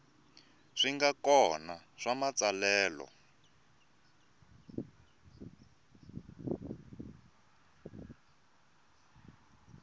swi nga kona swa matsalelo